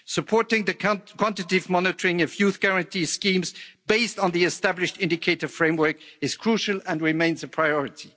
Supporting the quantitative monitoring of Youth Guarantee schemes based on the established indicative framework is crucial and remains a priority.